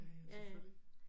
Ja ja selvfølgelig